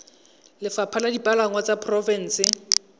lefapha la dipalangwa la porofense